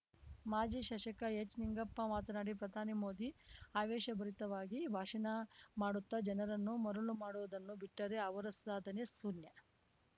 ಮಾಜಿ ಶಾಸಕ ಎಚ್ ನಿಂಗಪ್ಪ ಮಾತನಾಡಿ ಪ್ರಧಾನಿ ಮೋದಿ ಆವೇಶಭರಿತವಾಗಿ ಭಾಷಣ ಮಾಡುತ್ತಾ ಜನರನ್ನು ಮರುಳು ಮಾಡುವುದನ್ನು ಬಿಟ್ಟರೆ ಅವರ ಸಾಧನೆ ಶೂನ್ಯ